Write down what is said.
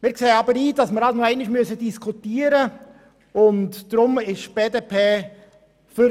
Ich sehe aber ein, dass man noch einmal darüber diskutieren muss.